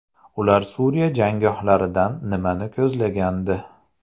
Ular Suriya janggohlaridan nimani ko‘zlagandi?